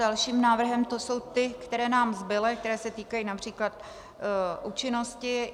Dalším návrhem - to jsou ty, které nám zbyly, které se týkají například účinnosti.